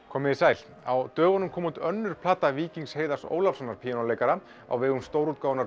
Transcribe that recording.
komið þið sæl á dögunum kom út önnur plata Víkings Heiðars Ólafssonar píanóleikara á vegum